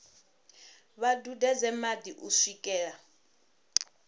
vha dudedze madi u swikela